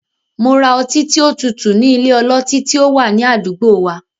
Mo ra ọtí tí ó tutù ní ilé ọlọtí tí ó wà ní àdúgbò wa.